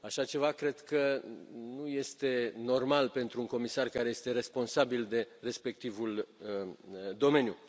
Așa ceva cred că nu este normal pentru un comisar care este responsabil de respectivul domeniu.